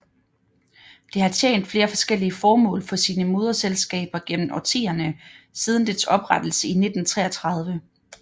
Det har tjent flere forskellige formål for sine moderselskaber gennem årtierne siden dets oprettelse i 1933